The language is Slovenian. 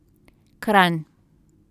Kranj.